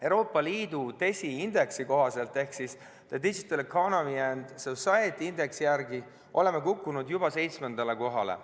Euroopa Liidu DESI indeksi ehk The Digital Economy and Society Indexi järgi oleme kukkunud juba seitsmendale kohale.